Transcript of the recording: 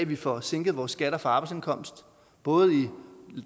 vi får sænket vores skatter for arbejdsindkomst både i